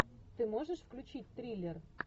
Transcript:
ты можешь включить триллер